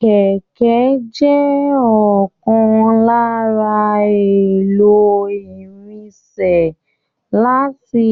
Kẹkẹ jẹ ọkan lára èlò irinṣẹ́ láti